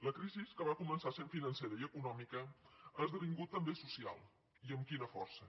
la crisi que va començar sent financera i econòmica ha esdevingut també social i amb quina força